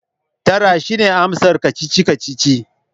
Tara! shine amsar kacici-kacici